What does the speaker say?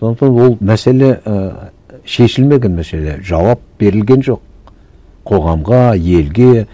сондықтан ол мәселе ііі шешілмеген мәселе жауап берілген жоқ қоғамға елге